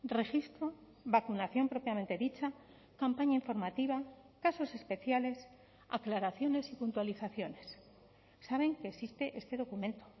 registro vacunación propiamente dicha campaña informativa casos especiales aclaraciones y puntualizaciones saben que existe este documento